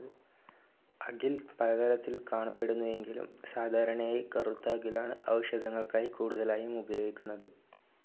അകിൽ പലതരത്തിൽ കാണപ്പെടുന്നു എങ്കിലും, സാധാരണയായി കറുത്ത അകിലാണ് ഔഷധങ്ങൾക്കായി കൂടുതലായും ഉപയോഗിക്കുന്നത്.